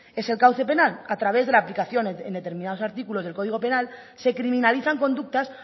es el cauce penal a través de la aplicación en determinados artículos del código penal se criminalizan conductas